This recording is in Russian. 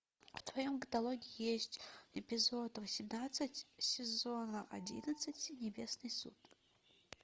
в твоем катологе есть эпизод восемнадцать сезона одиннадцать небесный суд